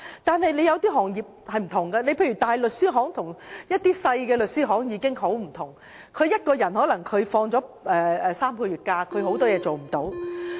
但有些行業則不然，例如大型律師行與小型律師行已截然不同，只要有一名員工放取3個月的假期，有很多事情便無法辦到。